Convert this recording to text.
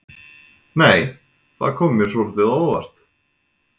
Nei! Það kom mér svolítið á óvart!